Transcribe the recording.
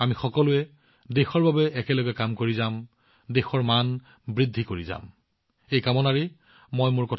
আমি সকলোৱে দেশৰ বাবে একেলগে কাম কৰি যাওঁ মই এই ইচ্ছাৰ সৈতে আজি সামৰণি মাৰিছোঁ